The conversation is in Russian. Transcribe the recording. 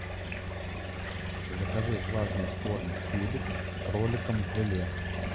закажи влажный корм феликс с кроликом в желе